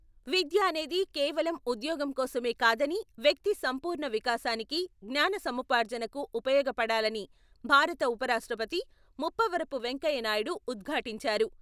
విద్య అనేది కేవలం ఉద్యోగం కోసమే కాదని వ్యక్తి సంపూర్ణ వికాసానికి, జ్ఞానసముపార్జనకు ఉపయోగపడాలని భారత ఉపరాష్ట్రపతి ముప్పవరపు వెంకయ్య నాయుడు ఉద్ఘాటించారు.